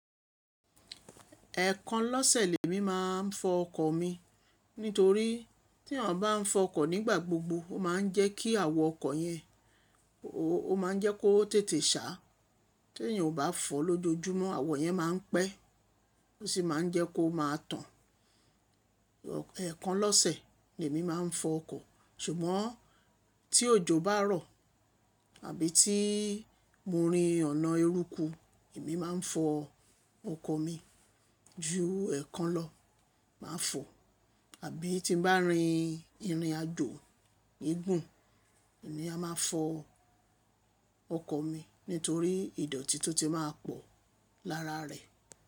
Ẹ̀ẹ̀kan lọ́sẹ̀ lè mi máa ń fọ ọkọ̀ mi. Nítorí tí ènìyàn bá ń fọ ọkọ̀ nígbà gbogbo, ó máa ń jẹ́ kí àwọ̀ ọkọ̀ yẹn ó máa ń jẹ́ kó tètè ṣá. Tí ènìyàn ò bá fọ lójoojúmọ́, àwọ̀ yẹn máa ń pẹ́, ó sì máa ń jẹ́ kó máa tàn. Ẹ̀ẹ̀kan lọ́sẹ̀ ni èmi máa ń fọ ọkọ̀. Ṣùgbọ́n tí òjò bá rọ̀ àbí tí mo rin ọ̀nà eruku, èmi máa ń fọ ọkọ̀ mi. Ju ẹ̀ẹ̀kan lọ máa fọ̀. Àbí tí bá rin ìrìnàjò ìgùn emi a máa fọ ọkọ̀ mi nítorí ìdọ̀tí tó ti máa pọ̀ lára rẹ̀.